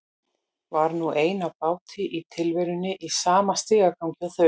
Var nú ein á báti í tilverunni í sama stigagangi og þau.